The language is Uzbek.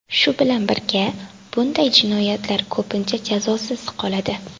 Shu bilan birga bunday jinoyatlar ko‘pincha jazosiz qoladi.